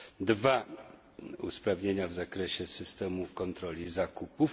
Dwa usprawnienia w zakresie systemu kontroli zakupów.